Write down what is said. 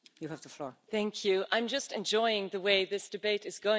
I'm just enjoying the way this debate is going at the moment, really.